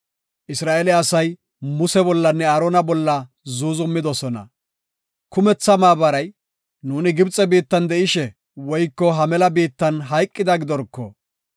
Isra7eele asay Muse bollanne Aarona bolla zuuzumidosona. Kumetha maabaray, “Nuuni Gibxe biittan de7ishe woyko ha mela biittan hayqida gidorko.